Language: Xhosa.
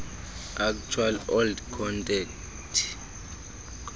actual old content